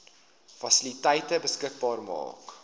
fasiliteite beskikbaar maak